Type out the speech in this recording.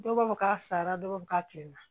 Dɔw b'a fɔ k'a sara dɔw b'a fɔ k'a kilenna